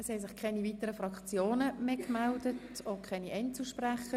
Es haben sich keine weiteren Fraktionen mehr gemeldet und auch keine Einzelsprecher.